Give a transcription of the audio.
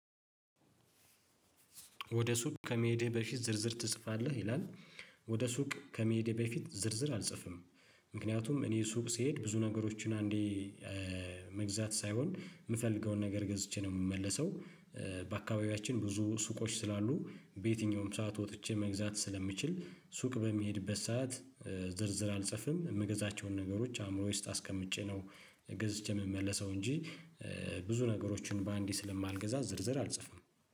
ወደ ሱቅ ከመሄድህ በፊት ዝርዝር ትጽፋለህ ይላል? ወደ ሱቅ ከመሄዴ በፊት ዝርዝር አልጽፍም። ምክንያቱም እኔ ሱቅ ስሄድ ብዙ ነገሮችን አንዴ መግዛት ሳይሆን የምፈልገውን ነገር ገዝቼ ነው የምመለሰው። በአካባቢያችን ብዙ ሱቆች ስላሉ በየትኛውም ሰዓት ወጥቼ መግዛት ስለምችል ሱቅ በምሄድበት ሰዓት ዝርዝር አልጽፍም። የምገዛቸውን ነገሮች አእምሮየ ውስጥ አስቀምጬ ነው ገዝቼ የምመለሰው እንጂ። ብዙ ነገሮችን በአንዴ ስለማልገዛ ዝርዝር አልጽፍም